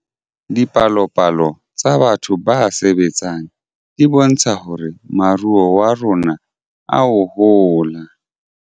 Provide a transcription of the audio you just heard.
Dipalopalo tsa batho ba sebetseng di bontsha hore moruo wa rona oa hola